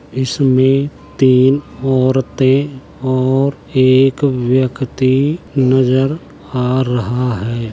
इसमें तीन औरते और एक व्यक्ति नजर आ रहा है।